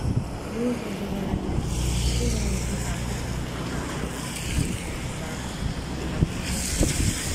N’ụzọ doro anya, inwe ụdị akụ́kụ́ dị iche iche na - abụ ihe nchebe.